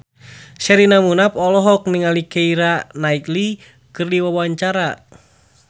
Sherina Munaf olohok ningali Keira Knightley keur diwawancara